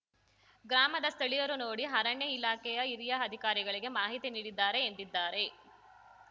ಗ್ರಾಮದ ಸ್ಥಳೀಯರು ನೋಡಿ ಅರಣ್ಯ ಇಲಾಖೆಯ ಹಿರಿಯ ಅಧಿಕಾರಿಗಳಿಗೆ ಮಾಹಿತಿ ನೀಡಿದ್ದಾರೆ ಎಂದಿದ್ದಾರೆ